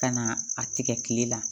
Ka na a tigɛ kile la